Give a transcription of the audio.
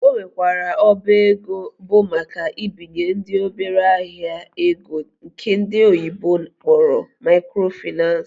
Ọ nwekwara ọba ego bụ maka ibinyendị obere ahịa ego nke ndi oyibo kpọrọ microfinace